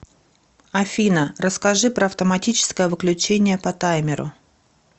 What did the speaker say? афина расскажи про автоматическое выключение по таймеру